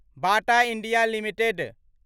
Bata India limited